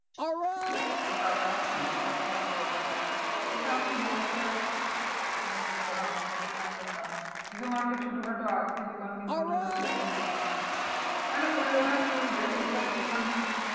টাকায় ছোটখাটো একটা হয়ে যাবে। কিন্তু আমি বড়সরো একটা খুলতে চাইছি আমি ছোটখাটো আমি আর খুলবো না। যদিও আমার একটা ছোটোখাটো আছে দোকান কিন্তু ওটাতো আর চলছে না। মানে খুললে ওটা চলবে কিন্তু ধর ওখানে